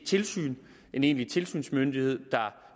tilsyn en egentlig tilsynsmyndighed der